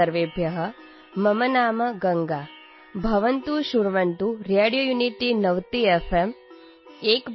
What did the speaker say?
नमोनमः सर्वेभ्यः | मम नाम गङ्गा | भवन्तः शृण्वन्तु रेडियोयुनिटीनवति